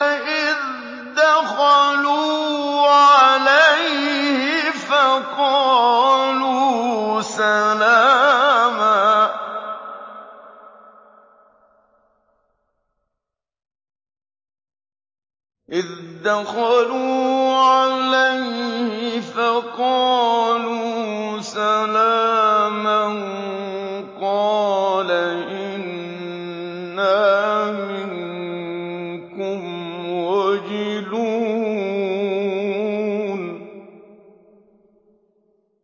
إِذْ دَخَلُوا عَلَيْهِ فَقَالُوا سَلَامًا قَالَ إِنَّا مِنكُمْ وَجِلُونَ